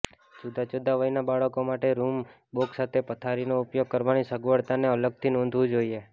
જુદાં જુદાં વયના બાળકો માટે રૂમમાં બોક્સ સાથે પથારીનો ઉપયોગ કરવાની સગવડતાને અલગથી નોંધવું જોઈએ